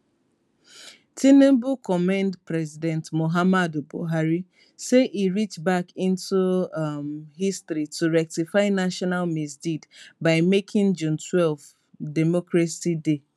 tinubu commend president muhammadu buhari say e reach back into um history to rectify national misdeed by making june twelve democracy day